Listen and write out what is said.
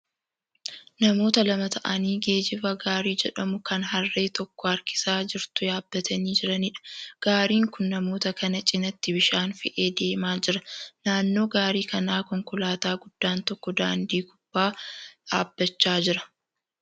Namoota lama ta'anii geejjiba gaarii jedhamu kan harree tokko harkisaa jertu yaabbatanii jiraniidha. Gaariin kun namoota kana cinatti bishaan fe'ee deemaa jira. Naannoo gaarii kanaa konkolaataa guddaan tokko daandii gubbaa dhaabbachaa jira.